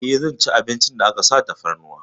Eh, zan ci abincin da aka sa tafarnuwa.